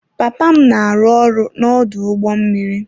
Papa m na-arụ ọrụ n'ọdụ ụgbọ mmiri.